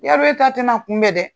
Yadɔn e ta tɛ na kunbɛn dɛ!